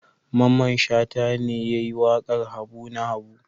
Mamman Shata ne ya yi waƙar Habu na Habu.